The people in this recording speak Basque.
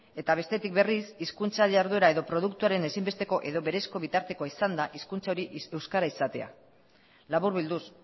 eta bestetik berriz hizkuntza jarduera edo produktuaren ezinbesteko edo berezko bitartekoa izanda hizkuntza hori euskara izatea laburbilduz